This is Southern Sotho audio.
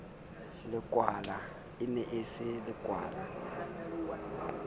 e ne e se lekwala